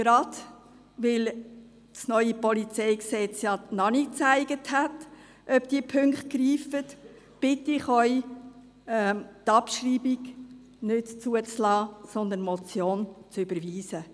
Gerade weil das neue PolG noch nicht gezeigt hat, ob diese Punkte greifen, bitte ich Sie, die Abschreibung nicht zuzulassen, sondern die Motion zu überweisen.